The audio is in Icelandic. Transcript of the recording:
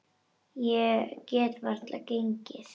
Ég get varla gengið.